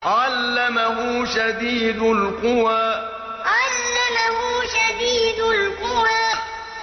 عَلَّمَهُ شَدِيدُ الْقُوَىٰ عَلَّمَهُ شَدِيدُ الْقُوَىٰ